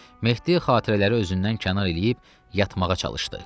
Mehdi xatirələri özündən kənar eləyib yatmağa çalışdı.